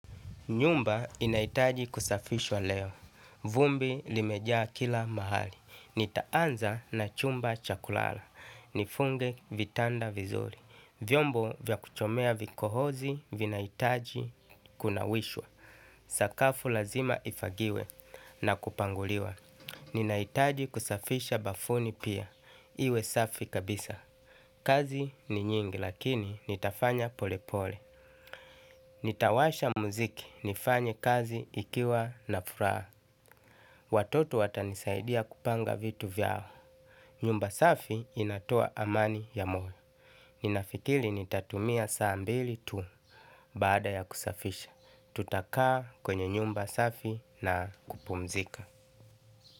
Nyumba inahitaji kusafishwa leo. Vumbi limejaa kila mahali. Nitaanza na chumba chakulala. Nifunge vitanda vizuri. Vyombo vya kuchomea vikohozi vinahitaji kunawishwa. Sakafu lazima ifagiwe na kupanguliwa. Ninahitaji kusafisha bafuni pia. Iwe safi kabisa. Kazi ni nyingi lakini nitafanya pole pole. Nitawasha muziki nifanye kazi ikiwa na furaha. Watoto watanisaidia kupanga vitu vyao. Nyumba safi inatoa amani ya moyo. Ninafikiri nitatumia saa mbili tu. Baada ya kusafisha, tutakaa kwenye nyumba safi na kupumzika.